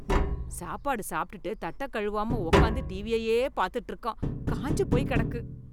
சாப்பாடு சாப்பிட்டுட்டு தட்ட கழுவாம உட்காந்து டிவியையே பாத்துட்டு இருக்கான், காஞ்சு போய் கெடக்கு.